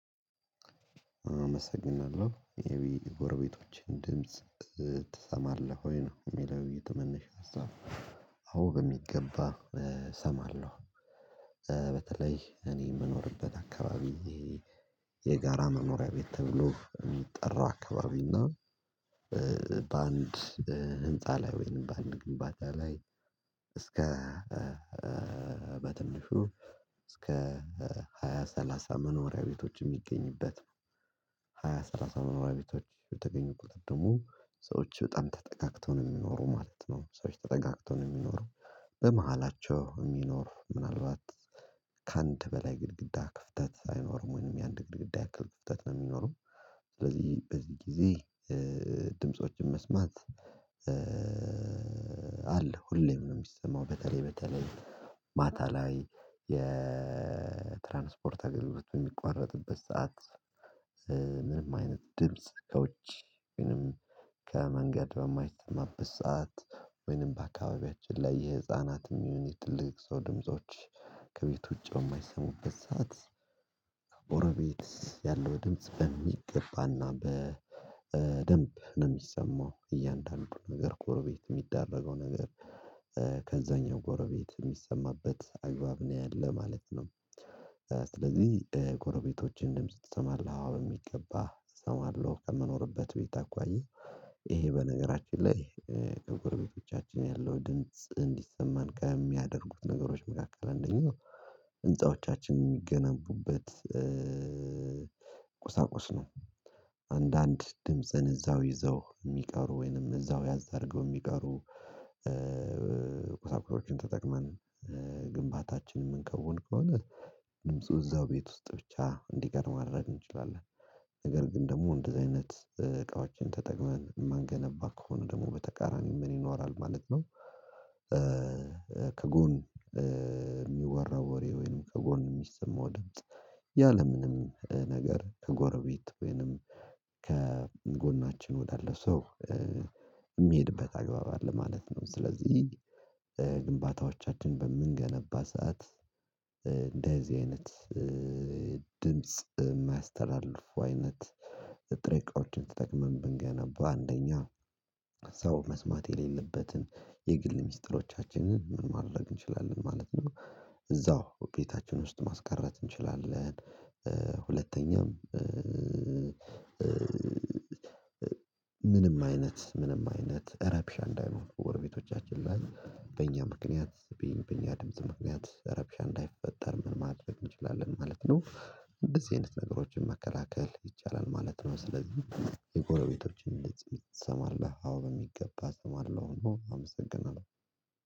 አመሰግናለሁ የቢ ጎርቤቶችን ድምጽ ትሰማለህ ወይ? ነው የሚለው የተመነሻ ሀሳብ አውብ የሚገባ እሰማለሁ። በተለይ እኔ የምኖርበት አካባቢ የጋራ መኖሪያ ቤት ተብሎ የሚጠራው አካባቢ እና ባንድ ህንፃ ላይ ወይም ባንድ ግንባታ ላይ እስከ በትንሹ እስከ ሃያ ሰላሳ መኖሪያ ቤቶች የሚገኝበት ነው። ሃያ ሰላሳ መኖሪያ ቤቶች የተገኙ ቁጥጥሙ ሰዎች በጣም ተጠጋግተው ነው የሚኖሩ ማለት ነው። ሰዎች ተጠጋግተው ነው የሚኖሩ በመሃላቸው የሚኖር ምናልባት ከአንድ በላይ ግድግዳ ክፍተት ሳይኖርም ወይንም የአንድ ግድግዳ ያክል ክፍተት ነው የሚኖረው። ስለዚህ በዚህ ጊዜ ድምፆችን መስማት አለ ሁሌም ነው የሚሰማው በተለይ በተለይ ማታ ላይ የትራንስፖርት አገልግሎት በሚቋረጥበት ሰዓት። ምንም አይነት ድምጽ ከውጪ ወይንም ከመንገድ በማይሰማበት ሰዓት ወይንም በአካባቢያችን ላይ የህፃናት የሚሆን የትልቅ ሰው ድምጾች ከቤት ውጪ የማይሰሙበት ሰዓት ከጎረቤት ያለው ድምጽ በሚገባና በደንብ ነው የሚሰማው እያንዳንዱ ነገር ጎረቤት የሚደረገው ነገር ከዛኛው ጎረቤት የሚሰማበት አግባብ ነው ያለው ማለት ነው። ስለዚህ ጎረቤቶችን ድምጽ ትሰማለህ አዎ በሚገባ እሰማለሁ። ከምኖርበት ቤት አኳያ ይሄ በነገራችን ላይ ከጎርቤቶቻችን ያለው ድንጽ እንዲሰማን ከሚያደርጉት ነገሮች መካከል አንደኛው ህንፃዎቻችን የሚገነቡበት ቁሳቁስ ነው። አንዳንድ ድምጽን እዛው ይዘው የሚቀሩ ወይንም እዛው ያዝ አርገው የሚቀሩ ቁሳቁሶችን ተጠቅመን ግንባታችንን የምንከውን ከሆነ ድምፁ እዛው ቤት ውስጥ ብቻ እንዲቀር ማድረግ እንችላለን ነገር ግን ደግሞ እንደዚህ አይነት እቃዎችን ተጠቅመን የማንገነባ ከሆነ ደግሞ በተቃራኒው ምን ይኖራል ማለት ነው። ከጎን የሚወራው ወሬ ወይንም ከጎን የሚሰማው ድምጽ ያለምንም ነገር ከጎረቤት ወይንም ከጎናችን ወዳለ ሰው የሚሄድበት አግባብ አለ ማለት ነው። ስለዚህ ግንባታዎቻችን በምንገነባ ሰዓት እንደዚህ አይነት ድምጽ የማያስተላልፉ አይነት ጥሬ እቃዎችን ተጠቅመን ብንገናባ አንደኛ ሰው መስማት የሌለበትን የግል ሚስጥሮቻችንን ምን ማድረግ እንችላለን ማለት ነው እዛው ቤታችን ውስጥ ማስቀረት እንችላለን። ሁለተኛም ምንም አይነት ምንም አይነት እረብሻ እንዳይኖር በጎረቤቶቻችን ላይ በእኛ ምክንያት በእኛ ድምጽ ምክንያት እረብሻ እንዳይፈጠር ምን ማድረግ እንችላለን ማለት ነው እንደዚህ አይነት ነገሮችን መከላከል ይቻላል ማለት ነው። ስለዚህ የጎረቤቶችን ድምጽ ትሰማለህ አዎ በሚገባ እሰማለሁ። አመሰግናለሁ